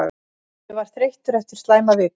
Ég var þreyttur eftir slæma viku.